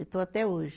E estou até hoje.